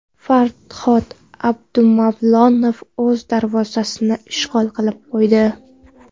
Farhod Abdumavlonov o‘z darvozasini ishg‘ol qilib qo‘ydi.